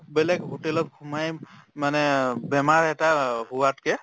বেলেগ hotel ত সোমাই মানে আহ বেমাৰ এটা হোৱাত্কে